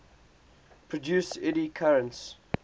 produce eddy currents